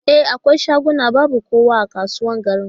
E, akwai shaguna babu kowa a kasuwar garin.